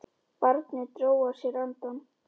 Barnið dró að sér andann.